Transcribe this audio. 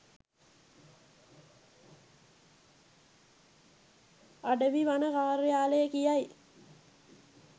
අඩවි වන කාර්යාලය කියයි.